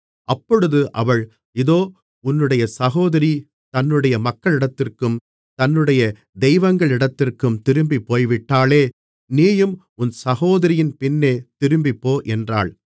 அப்பொழுது அவள் இதோ உன்னுடைய சகோதரி தன்னுடைய மக்களிடத்திற்கும் தன்னுடைய தெய்வங்களிடத்திற்கும் திரும்பிப்போய்விட்டாளே நீயும் உன் சகோதரியின் பின்னே திரும்பிப்போ என்றாள்